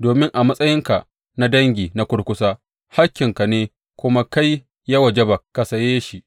domin a matsayinka na dangi na kurkusa hakkinka ne kuma kai ya wajaba ka saye shi.’